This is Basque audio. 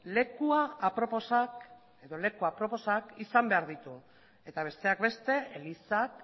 leku aproposak izan behar ditu eta besteak beste elizak